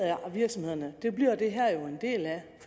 virksomhederne det bliver det her jo en del af